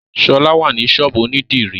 Ṣọlá wà ní ṣọ́ọ̀bú ònídìrí